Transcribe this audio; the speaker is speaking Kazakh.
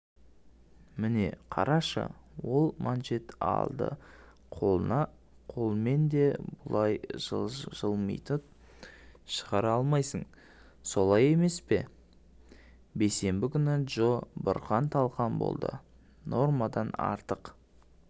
міне қарашыол манжет алды қолынақолмен де бұлай жылмитып шығара алмайсың солай емес пе бейсенбі күні джо бұрқан-талқан болды нормадан артық